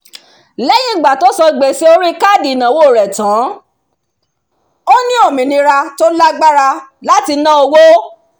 lẹ́yìn ìgbà tí ó san gbèsè orí káàdì ìnáwó rẹ̀ tán ó ní òmìnira tó lágbára láti ná owó